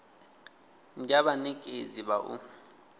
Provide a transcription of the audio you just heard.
ndi ha vhanekedzi vha u